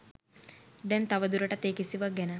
දැන් තව දුරටත් ඒ කිසිවක් ගැන